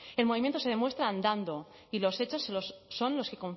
el movimiento se demuestra andando y los hechos son los que